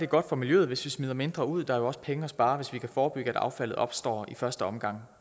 godt for miljøet hvis vi smider mindre ud der er jo også penge at spare hvis vi kan forebygge at affaldet opstår i første omgang